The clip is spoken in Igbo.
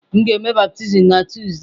M ga-eme baptizim na Tuzdee.